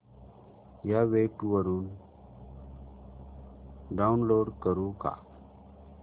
या वेब वरुन डाऊनलोड करू का